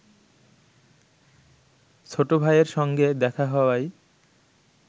ছোটভাইয়ের সঙ্গে দেখা হওয়ায়